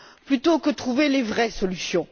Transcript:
plutôt que trouver les vraies solutions.